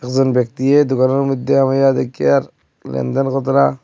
একজন ব্যক্তিয়ে দোকানের মইধ্যে বইয়া দেক্ষিয়ার লেনদেন কতরা--